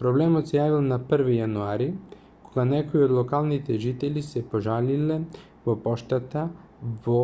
проблемот се јавил на 1 јануари кога некои од локалните жители се пожалиле во поштата во